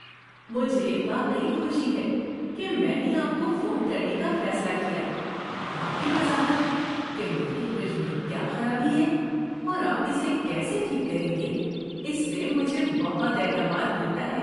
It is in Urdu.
مجھے واقعی خوشی ہے کہ میں نے آپ کو فون کرنے کا فیصلہ کیا – آپ کی وضاحت کہ میرے فریج میں کیا خرابی ہے اور آپ اسے کیسے ٹھیک کریں گے، اس سے مجھے بہت اعتماد ملتا ہے۔